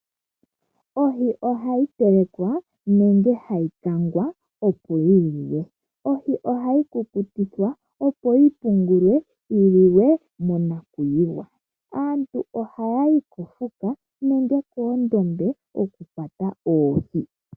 Ohi ohayi telekwa nenge hayi kangaroo opo yiliwe. Ohi ohayi kukutikwa opo yipungulwe yiliwe monakwiiwa. Aantu ohaya yi kofuka nenge koondombe okukwata oohi.